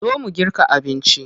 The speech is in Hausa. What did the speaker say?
Zo mu girka abinci.